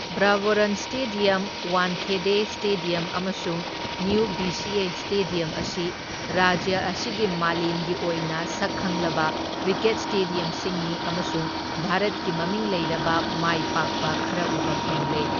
Brabourne stadium, Wankhede stadium, ꯑꯃꯁꯨꯡ new VCA stadium ꯑꯁꯤ ꯔꯥꯖ꯭ꯌ ꯑꯁꯤꯒꯤ ꯃꯥꯂꯦꯝꯒꯤ ꯑꯣꯏꯅ ꯁꯛꯈꯪꯂꯕ ꯀ꯭ꯔꯤꯀꯦꯠ ꯁ꯭ꯇꯦꯗꯤꯌꯝꯁꯤꯡꯅꯤ ꯑꯃꯁꯨꯡ ꯚꯥꯔꯠꯀꯤ ꯃꯃꯤꯡ ꯂꯩꯔꯕ ꯃꯥꯏꯄꯥꯛꯄ ꯈꯔ ꯎꯕ ꯐꯪꯂꯦ꯫